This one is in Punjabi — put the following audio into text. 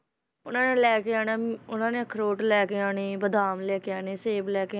ਉਹਨਾਂ ਨੇ ਲੈ ਕੇ ਆਉਣਾ ਅਮ ਉਹਨਾਂ ਨੇ ਅਖਰੋਟ ਲੈ ਕੇ ਆਉਣੇ ਬਾਦਾਮ ਲੈ ਕੇ ਆਉਣੇ ਸੇਬ ਲੈ ਕੇ